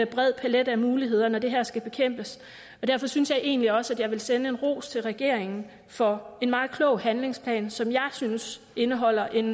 bred palet af muligheder når det her skal bekæmpes og derfor synes jeg egentlig også at jeg vil sende en ros til regeringen for en meget klog handlingsplan som jeg synes indeholder en